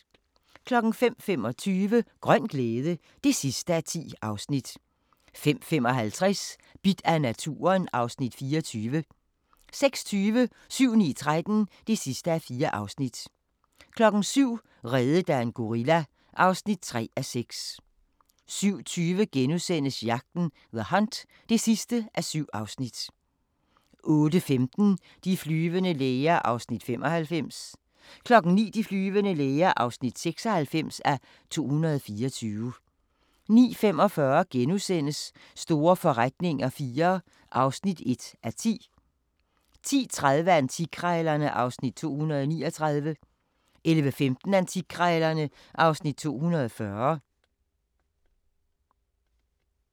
05:25: Grøn glæde (10:10) 05:55: Bidt af naturen (Afs. 24) 06:20: 7-9-13 (4:4) 07:00: Reddet af en gorilla (3:6) 07:20: Jagten – The Hunt (7:7)* 08:15: De flyvende læger (95:224) 09:00: De flyvende læger (96:224) 09:45: Store forretninger IV (1:10)* 10:30: Antikkrejlerne (Afs. 239) 11:15: Antikkrejlerne (Afs. 240)